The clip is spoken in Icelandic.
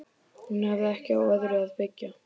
Hún hafði ekki á öðru að byggja.